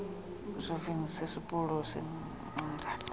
isivingco sesipulu sincangathi